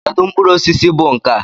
Kedu mkpụrụ osisi bụ nkà?